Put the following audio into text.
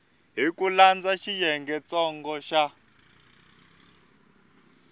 hi ku landza xiyengentsongo xa